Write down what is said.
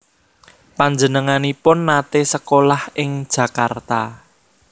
Panjenenganipun naté sekolah ing Jakarta